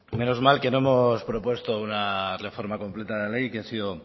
menos mal que no hemos propuesto una reforma completa de la ley que ha sido